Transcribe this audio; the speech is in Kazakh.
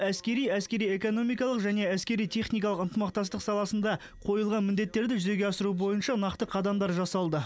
әскери әскери экономикалық және әскери техникалық ынтымақтастық саласында қойылған міндеттерді жүзеге асыру бойынша нақты қадамдар жасалды